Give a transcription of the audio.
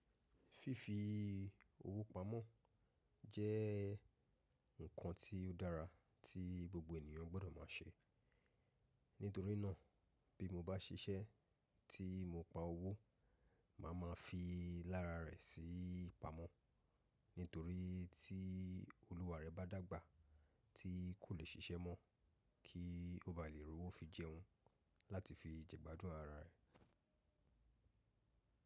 Fífi owó pa mo jé nkan tí ó dára tí gbogbo ènìyàn gbó do má se. Nítorínà bí mo bá ṣiṣẹ́ tí mo pa owó, màá ma fi lára rẹ̀ sí pamọ́. Nítorí tí olúwa rẹ bá dàgbà tí kò lè ṣiṣẹ́ mọ́ kí ó bá lè rówó fi jẹun láti fi jẹgbádùn ara rẹ̀.